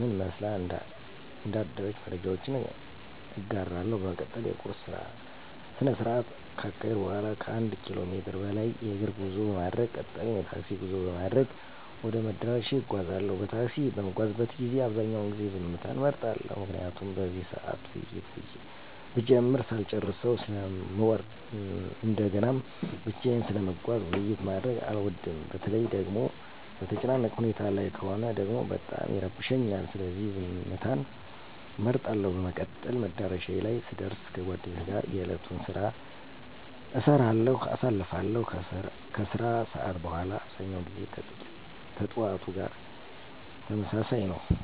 ምን መስላ እንዳደረች መረጃዎች እጋራለሁ። በመቀጠል የቁርስ ስነስርዓት ካካሄድኩ በኋላ ከአንድ ኪሎ ሜትር በላይ የእግር ጉዞ በማድረግ ቀጣዩን የታክሲ ጉዞ በማድረግ ወደ መዳረሻዬ እጓዛለሁ። በታክሲ በምጓዝበት ጊዜ አብዛኛውን ጊዜ ዝምታን እመርጣለሁ። ምክንያቱም በዚህ ሰዓት ውይይት ብጀምር ሳልጨረሰው ስለምወርድ እንደገናም ብቻየን ስለምጓዝ ውይይት ማድረግ አልወድም። በተለይ ደጎሞ በተጨናነቀ ሁኔታ ላይ ከሆነ ደግሞ በጣም ይረብሸኛል። ስለዚህ ዝምትን እመርጣለሁ። በመቀጠል መዳረሻዬ ላይ ስደር ከጓደኞቼ ጋር የእለቱን ስራ አይሰራሁ አሳልፋለሁ። ከስራ ሰዓት በኋላ አብዛኛው ጊዜ ከጥዋቱ ጋር ተመሳሳይ ነው።